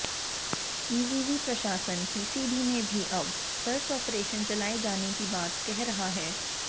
इविवि प्रशासन पीसीबी में भी अब सर्च ऑपरेशन चलाए जाने की बात कह रहा है